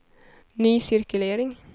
ny cirkulering